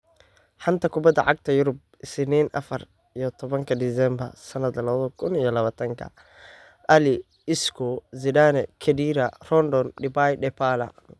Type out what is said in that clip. Xanta Kubadda Cagta Yurub Isniin afaar iyo tobanki disembaar sanadi laba kuun iyo labatankii: Alli, Isco, Zidane, Khedira, Rondon, Depay, Dybala,